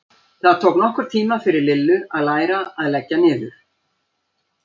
Það tók nokkurn tíma fyrir Lillu að læra að leggja niður.